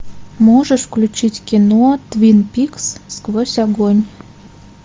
можешь включить кино твин пикс сквозь огонь